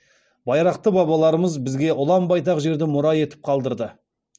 байрақты бабаларымыз бізге ұлан байтақ жерді мұра етіп қалдырды